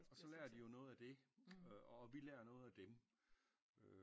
Og så lær de jo noget af det og vi lær noget af dem